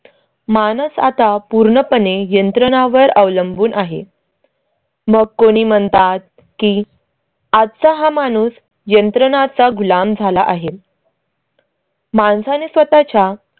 माणूस आता पूर्णपणे यंत्रणां वर अवलंबून आहे. मग कोणी म्हणतात की आजचा हा माणूस यंत्रणा चा गुलाम झाला आहे. माणसा ने स्वतः च्या